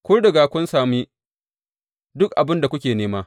Kun riga kun sami duk abin da kuke nema!